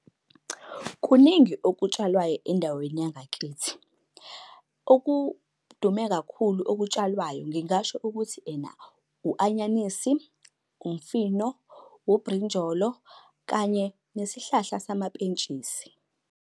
Kuningi okutshalwayo endaweni yangakithi. Okudume kakhulu okutshalwayo ngingasho ukuthi ena u-anyanisi, umfino, ubrinjolo, kanye nesihlahla samapentshisi.